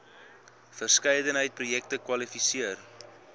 verskeidenheid projekte kwalifiseer